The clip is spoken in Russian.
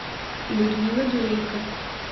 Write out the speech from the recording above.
людмила дурейко